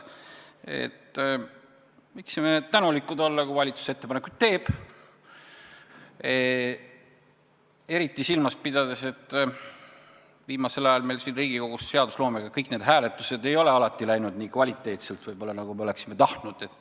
Me võiksime tänulikud olla, kui valitsus ettepanekuid teeb, eriti silmas pidades, et viimasel ajal meil siin Riigikogus kõik hääletused ei ole alati läinud võib-olla nii kvaliteetselt, nagu me oleksime tahtnud.